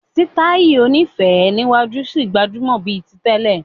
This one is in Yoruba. Sítáì oní féé níwájú ṣì gbajúmọ̀ bíi ti tẹ́lẹ̀.